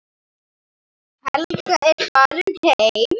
Helga er farin heim.